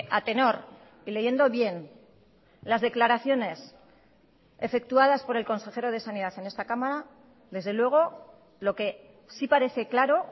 a tenor y leyendo bien las declaraciones efectuadas por el consejero de sanidad en esta cámara desde luego lo que sí parece claro